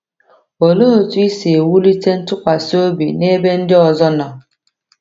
Olee otú i si ewulite ntụkwasị obi n’ebe ndị ọzọ nọ?